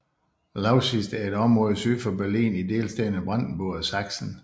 Lausitz er et område syd for Berlin i delstaterne Brandenburg og Saksen